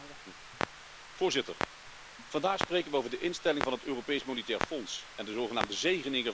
Voorzitter, vandaag spreken we over de instelling van het Europees Monetair Fonds en de zogenaamde zegeningen van de euro.